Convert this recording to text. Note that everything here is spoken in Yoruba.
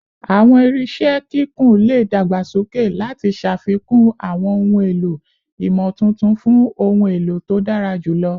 Awọn irinṣẹ kikun le dagbasoke lati ṣafikun awọn ohun elo imotuntun fun ohun elo to dara julọ